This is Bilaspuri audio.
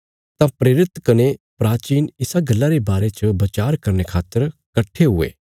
तां प्रेरित कने प्राचीन इसा गल्ला रे बारे च बचार करने खातर कट्ठे हुये